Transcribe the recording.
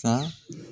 Sa